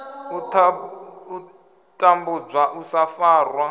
u tambudzwa u sa farwa